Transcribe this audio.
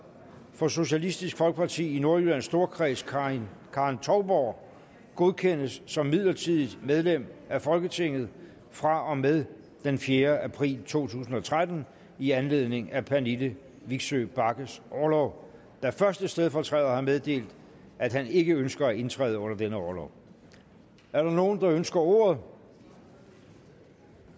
for socialistisk folkeparti i nordjyllands storkreds karen karen touborg godkendes som midlertidigt medlem af folketinget fra og med den fjerde april to tusind og tretten i anledning af pernille vigsø bagges orlov da første stedfortræder har meddelt at han ikke ønsker at indtræde under denne orlov er der nogen der ønsker ordet